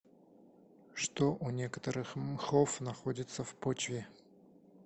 что у некоторых мхов находится в почве